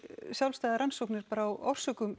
sjálfstæðar rannsóknir bara á orsökum